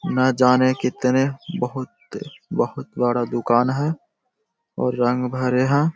ना जाने कितने बहुत-बहुत बड़ा दुकान है और रंग भरे हैं।